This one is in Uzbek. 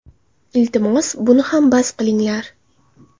Iltimos, buni ham bas qilinglar.